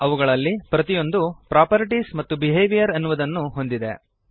ಅವುಗಳಲ್ಲಿ ಪ್ರತಿಯೊಂದು ಪ್ರಾಪರ್ಟೀಸ್ ಮತ್ತು ಬಿಹೇವಿಯರ್ ಎನ್ನುವುದನ್ನು ಹೊಂದಿದೆ